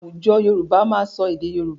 Àwùjọ Yorùbá máa sọ èdè Yorùbá.